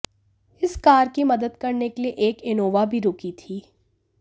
इस कार की मदद करने के लिए एक इनोवा भी रुकी थी